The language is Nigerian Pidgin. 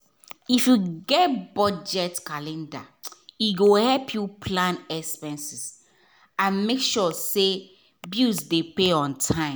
if you get budget calendar e go help you plan expenses and make sure say bills dey pay on time.